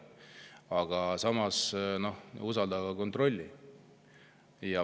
Aga samas: usalda, aga kontrolli.